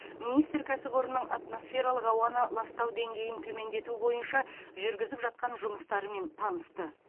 министр кәсіпорынның атмосфералық ауаны ластау деңгейін төмендету бойынша жүргізіп жатқан жұмыстарымен танысты